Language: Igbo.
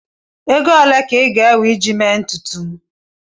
Ego ole ka ị ga-ewe iji mee ntutu m?